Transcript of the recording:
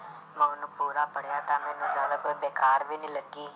ਮੈਂ ਉਹਨੂੰ ਪੂਰਾ ਪੜ੍ਹਿਆ ਤਾਂ ਮੈਨੂੰ ਬੇਕਾਰ ਵੀ ਨੀ ਲੱਗੀ।